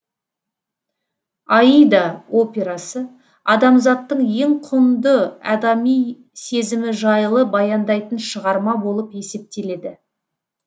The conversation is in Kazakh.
аида операсы адамзаттың ең құнды адами сезімі жайлы баяндайтын шығарма болып есептеледі